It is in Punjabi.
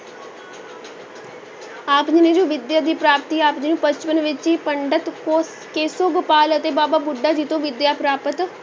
ਆਪ ਵਿਦਿਆ ਦੀ ਪ੍ਰਾਪਤੀ ਆਪ ਜੀ ਨੂੰ ਬਚਪਨ ਵਿੱਚ ਹੀ ਪੰਡਿਤ ਕੋ~ ਕੇਸੋ ਗੋਪਾਲ ਅਤੇ ਬਾਬਾ ਬੁੱਢਾ ਜੀ ਤੋਂ ਵਿਦਿਆ ਪ੍ਰਾਪਤ